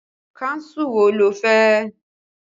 Kánsù wo lo fẹ́?